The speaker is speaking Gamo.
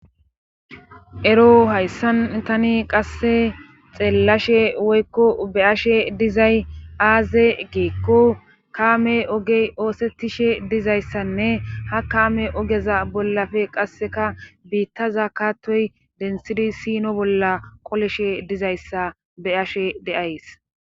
ero hayssan tani qasse xeellashe woykko be ashe dizay aaze geekko kaame ogey oosettishe dizayssanne ha kaame ogeza bollafe qasseka biittaza kaattoy densidi sino bolla qoleshe dizayssa be ashe deays